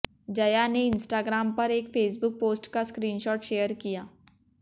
जया ने इंस्टाग्राम पर एक फेसबुक पोस्ट का स्क्रीनशॉट शेयर किया